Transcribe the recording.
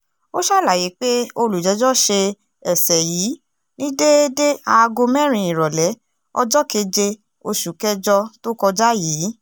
ó ṣàlàyé pé olùjẹ́jọ́ ṣe ẹsẹ yìí ní déédé aago mẹ́rin ìrọ̀lẹ́ ọjọ́ keje oṣù kẹjọ tó kọjá yìí